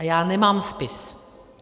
A já nemám spis.